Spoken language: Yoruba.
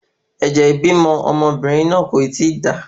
Ẹ̀jẹ̀ ibímọ ọmọbìnrin náà kò ti da